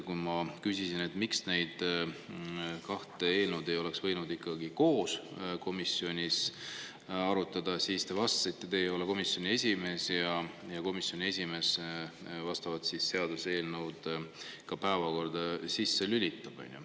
Kui ma küsisin, miks ikkagi ei oleks võinud neid kahte eelnõu komisjonis koos arutada, siis te vastasite, et teie ei ole komisjoni esimees ja et komisjoni esimees lülitab seaduseelnõud komisjoni päevakorda.